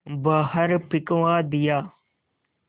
बाहर फिंकवा दिया